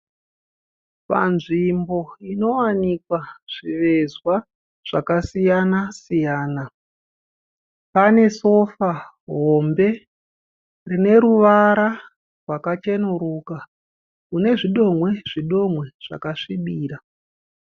Panzvimbo inowanikwa zvivezwa zvakasiyana-siyana. Pane sofa hombe rineruvara rwakachenuruka, runezvidomwe zvidomwe zvakasvibirira.